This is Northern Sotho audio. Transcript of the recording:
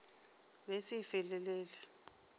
be e se e felelele